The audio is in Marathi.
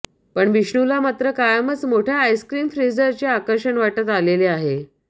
पण विष्णूला मात्र कायमच मोठ्या आईस्क्रीम फ्रीझरचे आकर्षण वाटत आलेले आहे